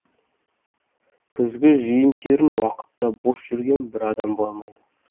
күзгі жиын терін уақытта бос жүрген бір адам болмайды